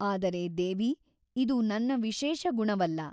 ಆದರೆ ದೇವಿ ಇದು ನನ್ನ ವಿಶೇಷ ಗುಣವಲ್ಲ.